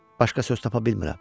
Başqa söz tapa bilmirəm.